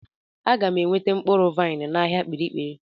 Aga m enweta mkpụrụ vaịn n'ahịa kpirikpiri.